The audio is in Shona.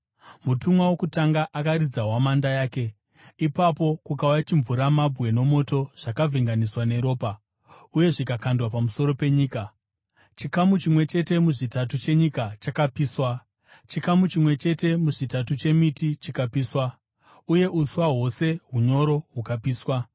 Mutumwa wokutanga akaridza hwamanda yake, ipapo kukauya chimvuramabwe nomoto zvakavhenganiswa neropa, uye zvikakandwa pamusoro penyika. Chikamu chimwe chete muzvitatu chenyika chakapiswa, chikamu chimwe chete muzvitatu chemiti chikapiswa, uye uswa hwose hunyoro hukapiswa.